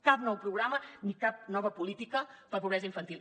cap nou programa ni cap nova política per a pobresa infantil